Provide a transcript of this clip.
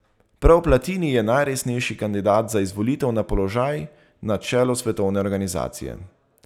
Prav Platini je najresnejši kandidat za izvolitev na položaj na čelu svetovne organizacije.